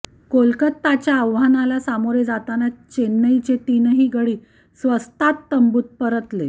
कोलकाताच्या आव्हानाला सामोरे जाताना चेन्नईचे तीनही गडी स्वस्तात तंबूत परतले